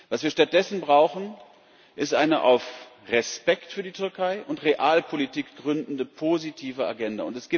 Was wir stattdessen brauchen, ist eine auf Respekt für die Türkei und Realpolitik gründende positive Agenda.